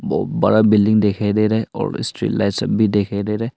और बड़ा बिल्डिंग दिखाई दे रहे और स्ट्रीट लाइट्स भी दिखाई दे रहे--